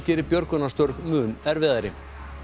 geri björgunarstörf mun erfiðari